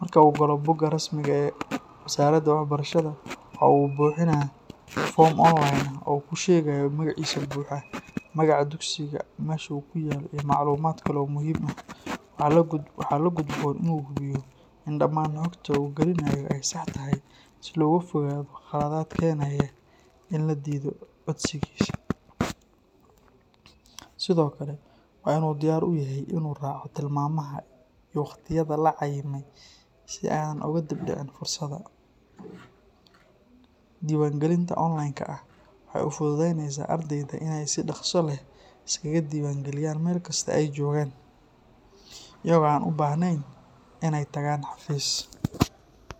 Marka uu galo bogga rasmiga ah ee wasaaradda waxbarashada, waxa uu buuxinayaa foom online ah oo uu ku sheegayo magaciisa buuxa, magaca dugsiga, meesha uu ku yaallo, iyo macluumaad kale oo muhiim ah. Waxa la gudboon inuu hubiyo in dhammaan xogta uu gelinayo ay sax tahay si looga fogaado khaladaad keenaya in la diido codsigiisa. Sidoo kale, waa inuu diyaar u yahay inuu raaco tilmaamaha iyo wakhtiyada la cayimay si aanay uga dib dhicin fursadda. Diiwaangelinta online-ka ah waxay u fududaynaysaa ardayda inay si dhaqso leh iskaga diiwaangeliyaan meel kasta oo ay joogaan, iyagoo aan u baahnayn in ay tagaan xafiis.